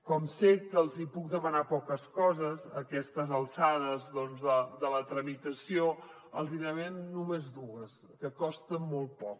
com que sé que els hi puc demanar poques coses a aquestes alçades de la tramitació els en demanaré només dues que costen molt poc